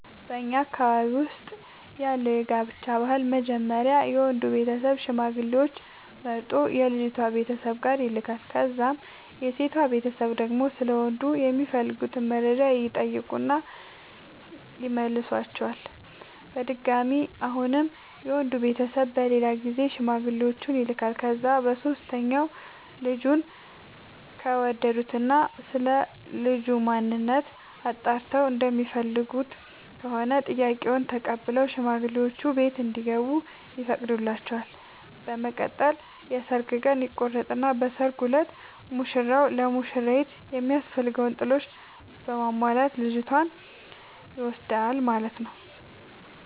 በኛ ማህበረሰብ ውስጥ ያለው የጋብቻ ባህል መጀመሪያ የወንዱ ቤተሰብ ሽማግሌዎች መርጦ የልጅቷ ቤተሰብ ጋር ይልካል። ከዛም የሴቷ ቤተሰብ ደግሞ ስለ ወንዱ የሚፈልጉትን መረጃ ይጠይቁና ይመልሷቸዋል። በድጋሚ አሁንም የወንድ ቤተሰብ በሌላ ጊዜ ሽማግሌዎቹን ይልኳቸዋል። ከዛ በሶስተኛው ልጁን ከወደዱት እና ስለልጁ ማንነት አጣርተው እንደሚፈልጉት ከሆነ ጥያቄውን ተቀብለው ሽማግሌዎቹ ቤት እንዲገቡ ይፈቅዱላቸዋል። በመቀጠል የሰርግ ቀን ይቆርጡና በሰርጉ እለት ሙሽራው ለሙሽሪት የሚያስፈልገውን ጥሎሽ በማሟላት ልጅቷን ይወስዳል ማለት ነው።